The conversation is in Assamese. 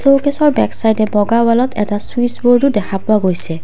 শ্বকেছৰ বেকছাইডে বগা ৱালত এটা চুইচবোৰ্ডও দেখা পোৱা গৈছে।